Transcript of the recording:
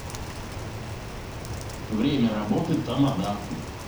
время работы тамада